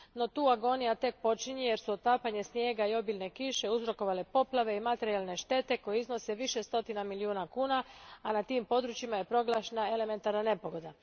No tu agonija tek počinje jer su otapanje snijega i obilne kiše uzrokovale poplave i materijalne štete koje iznose više stotina milijuna kuna, a na tim područjima je proglašena elementarna nepogoda.